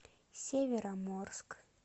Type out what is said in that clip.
североморск